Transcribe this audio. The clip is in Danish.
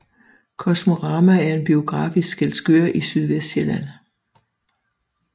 Kosmorama er en biograf i Skælskør i Sydvestsjælland